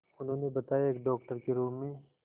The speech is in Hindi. उन्होंने बताया एक डॉक्टर के रूप में